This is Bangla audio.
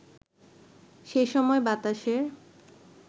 সেসময় বাতাসের